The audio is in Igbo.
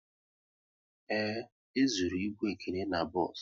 Ee, e zụrụ ịbụ Ekene n'bos